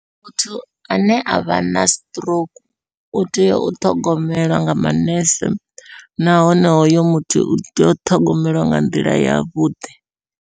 Muthu ane a vha na stroke, u tea u ṱhogomelwa nga manese nahone hoyo muthu utea u ṱhogomeliwa nga nḓila yavhuḓi.